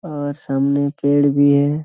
और सामने पेड़ भी है।